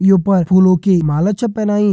यूं पर फूलों की माला छ पैनाइ।